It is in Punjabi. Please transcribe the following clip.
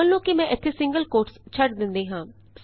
ਮੰਨ ਲਉ ਕਿ ਮੈਂ ਇਥੇ ਸਿੰਗਲ ਕੋਟਸ ਛੱਡ ਦਿੰਦੀ ਹਾਂ